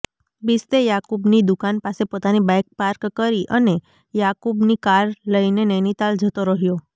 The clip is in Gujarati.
બિશ્તે યાકુબની દુકાન પાસે પોતાની બાઈક પાર્ક કરી અને યાકુબની કાર લઈને નૈનિતાલ જતો રહ્યો